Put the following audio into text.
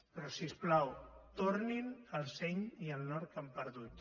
però si us plau tornin el seny i el nord que han perdut